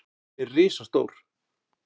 Hann er risastór.